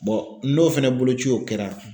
n'o fana boloci o kɛra